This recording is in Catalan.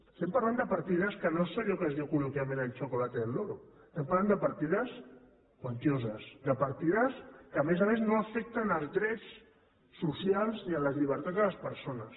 estem parlant de partides que no és allò que es diu col·loquialment el chocolate del lorode partides quantioses de partides que a més a més no afecten els drets socials ni les llibertats de les persones